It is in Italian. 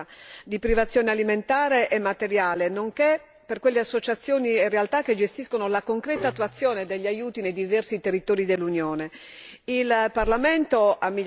Angelilli ha richiamato i numeri anche dell'Italia di privazione alimentare e materiale, nonché per quelle associazioni e realtà che gestiscono la concreta attuazione degli aiuti nei diversi territori dell'Unione.